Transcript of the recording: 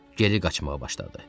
Geri qaçmağa başladı.